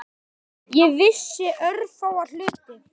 Ég vissi örfáa hluti.